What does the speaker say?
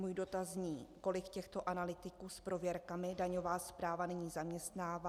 Můj dotaz zní: Kolik těchto analytiků s prověrkami daňová správa nyní zaměstnává?